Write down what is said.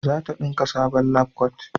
zata dinka sabon labkwat